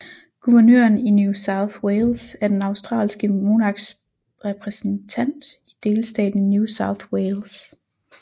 Guvernøren i New South Wales er den australske monarks repræsentant i delstaten New South Wales